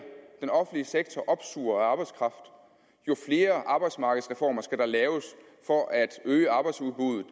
den offentlige sektor opsuger af arbejdskraft jo flere arbejdsmarkedsreformer skal der laves for at øge arbejdsudbuddet